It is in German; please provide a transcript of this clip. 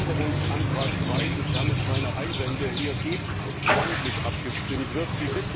Ich möchte, dass über Änderungsantrag 3, sofern es keine Einwände hier gibt, namentlich abgestimmt wird.